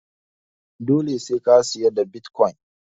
Dole sai ka siyar da bitkwon